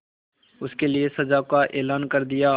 उसके लिए सजा का ऐलान कर दिया